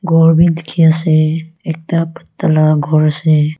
ghor bi dekhi ase ekta pata laga ghor ase.